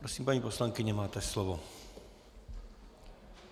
Prosím, paní poslankyně, máte slovo.